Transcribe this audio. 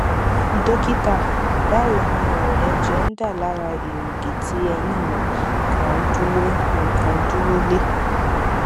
dọkítà báwo ni o ẹjẹ ń dà lára èrìgì tí eyín mi kan dúró mi kan dúró lé